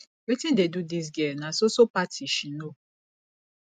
wetin dey do dis girl na so so party she know